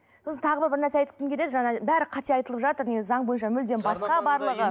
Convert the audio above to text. сосын тағы бір нәрсе айтқым келеді жаңа бәрі қате айтылып жатыр негізі заң бойынша мүлдем басқа барлығы